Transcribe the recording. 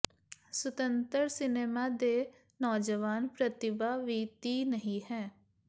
ਸੁਤੰਤਰ ਸਿਨੇਮਾ ਦੇ ਨੌਜਵਾਨ ਪ੍ਰਤੀਭਾ ਵੀ ਤੀਹ ਨਹੀ ਹੈ